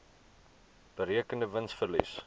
berekende wins verlies